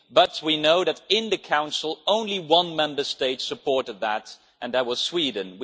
But we know that in the Council, only one Member State supported that, and that was Sweden